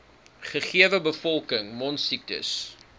gegewe bevolking mondsiektes